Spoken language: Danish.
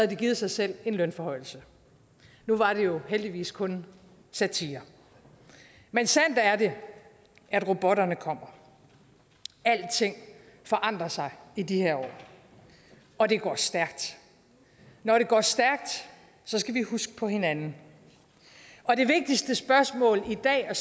de givet sig selv en lønforhøjelse nu var det jo heldigvis kun satire men sandt er det at robotterne kommer alting forandrer sig i de her år og det går stærkt når det går stærkt skal vi huske på hinanden og det vigtigste spørgsmål i dag er